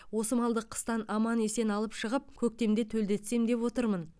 осы малды қыстан аман есен алып шығып көктемде төлдетсем деп отырмын